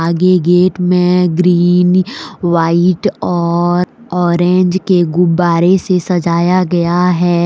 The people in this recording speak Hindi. ये गेट मे ग्रीन व्हाइट और ऑरेंज के गुब्बारे से सजाया गया है।